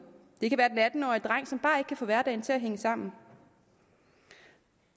det kan være den atten årige dreng som bare ikke kan få hverdagen til at hænge sammen